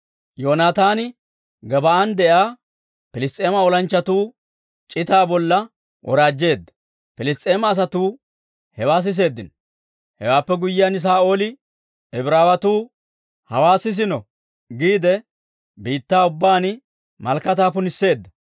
Yoonataani Gebaa'an de'iyaa Piliss's'eema olanchchatuu c'itaa bolla woraajjeedda; Piliss's'eema asatuu hewaa siseeddino. Hewaappe guyyiyaan Saa'ooli, «Ibraawetuu hawaa sisiino» giide, biittaa ubbaan malakataa punisseedda.